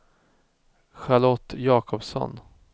Charlotte Jakobsson